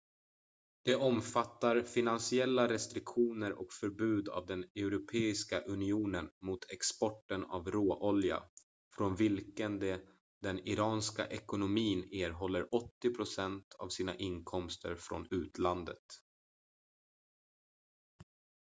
de omfattar finansiella restriktioner och förbud av den europeiska unionen mot exporten av råolja från vilken den iranska ekonomin erhåller 80% av sina inkomster från utlandet